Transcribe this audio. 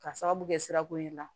Ka sababu kɛ sirako in na